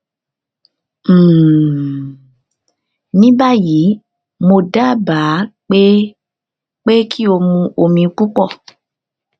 um ní báyìí mo dábàá pé pé kí o mu omi púpọ